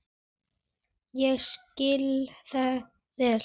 Ég skil það vel.